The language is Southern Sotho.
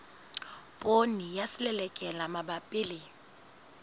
poone ya selelekela mabapi le